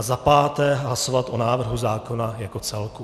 A za páté hlasovat o návrhu zákona jako celku.